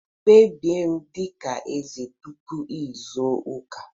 Kpebie m dị ka eze tupu izu ụka!